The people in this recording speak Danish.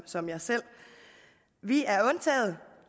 som jeg selv vi er undtaget